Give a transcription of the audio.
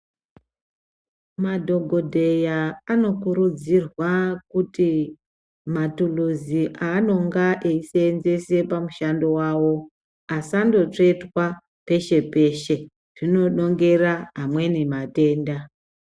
Madhokodheya anokurudzirwa kuti mathulusi aanonga eiseenzese pamushando wawo asango tsvetwa peshe peshe, zvino nhongera amweni matenda.